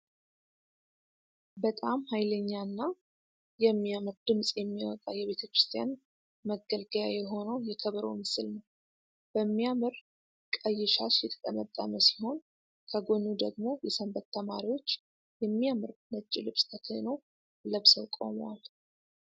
በጣም ሃይለኛ እና የሚያምር ድምጽ የሚወጣ የቤተክርስቲያን መገልገያ የሆነው የከበሮ ምስል ነው። በሚያምር ቀይሻሽ የተጠመጠመ ሲሆን ከጎኑ ደግሞ የሰንበት ተማሪዎች የሚያምር ነጭ ልብሰ ተክህኖ ለብሰው ቁመዋል።